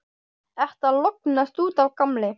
Ertu að lognast út af, gamli?